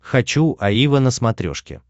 хочу аива на смотрешке